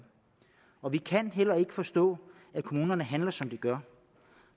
og vi kan heller ikke forstå at kommunerne handler som de gør